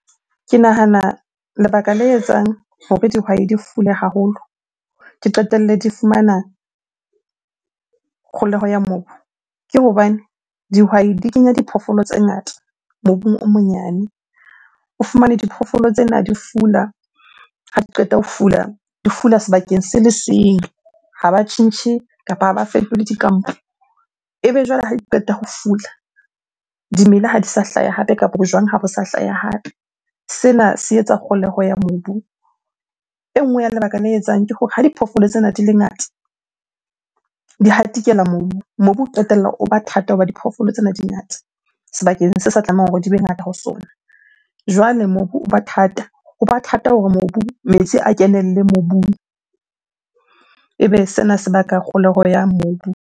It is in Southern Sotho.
Ke nahana lebaka le etsang hore dihwai di fule haholo, ke qetelle di fumana kgoholeho ya mobu ke hobane dihwai di kenya diphoofolo tse ngata mobung o monyane. O fumane diphoofolo tsena di fula, ha di qeta ho fula, di fula sebakeng se le seng. Ha ba tjhentjhe kapa ha ba fetole dikampo. Ebe jwale ha ke qeta ho fula, dimela ha di sa hlaya hape kapa ho jwang ha bo sa hlaya hape. Sena se etsa kgoholeho ya mobu. E nngwe ya lebaka le etsang ke hore ha diphoofolo tsena di le ngata, di hatikela mobu. Mobu o qetella o ba thata hoba diphoofolo tsena di ngata sebakeng se sa tlamehang hore di be ngata ho sona. Jwale mobu o ba thata, ho ba thata hore mobu metsi a kenelle mobung. Ebe sena se baka kgoholeho ya mobu.